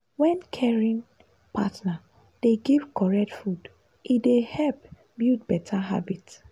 wen caring partner dey give correct food e dey help build better habit.